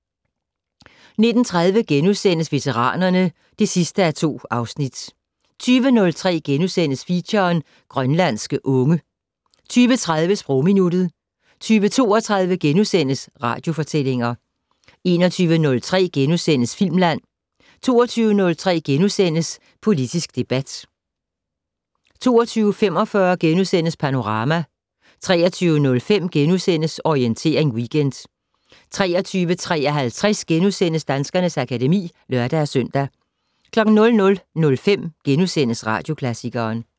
19:30: Veteranerne (2:2)* 20:03: Feature: Grønlandske unge * 20:30: Sprogminuttet 20:32: Radiofortællinger * 21:03: Filmland * 22:03: Politisk debat * 22:45: Panorama * 23:05: Orientering Weekend * 23:53: Danskernes akademi *(lør-søn) 00:05: Radioklassikeren *